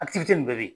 nin bɛɛ be yen